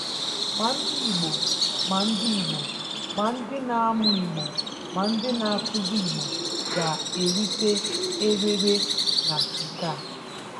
Ma ndị Igbo, ma ndị Igbo, ma ndị na-amụ Igbo, ma ndị na-akụzi Igbo ga-erite erere na nke a.